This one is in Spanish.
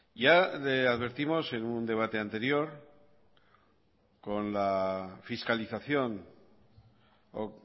ya le advertimos en un debate anterior